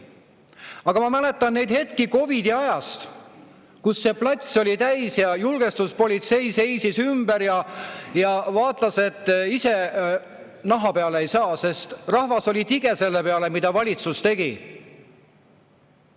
Aga ma mäletan hetki COVID-i ajast, kui see plats oli täis ja julgestuspolitsei seisis ümber ja vaatas, et ise naha peale ei saa, sest rahvas oli tige selle peale, mida valitsus tegi.